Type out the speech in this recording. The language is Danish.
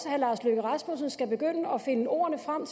herre lars løkke rasmussen skal begynde at finde ord frem